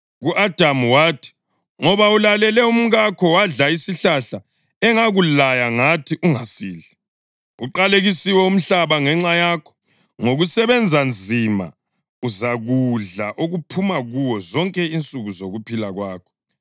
Ku-Adamu wathi, “Ngoba ulalele umkakho wadla isihlahla engakulaya ngathi, ‘Ungasidli,’ Uqalekisiwe umhlabathi ngenxa yakho; ngokusebenza nzima uzakudla okuphuma kuwo zonke insuku zokuphila kwakho.